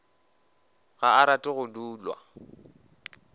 ga a rate go dulwa